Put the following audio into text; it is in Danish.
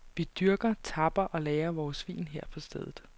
Vi dyrker, tapper og lagrer vores vin her på stedet.